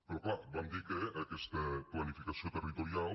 però clar vam dir que aquesta planificació territorial